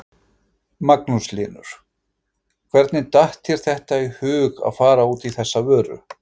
Magnús Hlynur: Hvernig datt þér þetta í hug að fara út í þessa vöru?